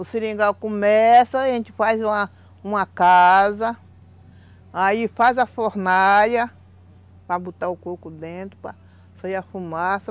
O seringal começa, a gente faz uma uma casa, aí faz a fornalha, para botar o coco dentro, para sair a fumaça,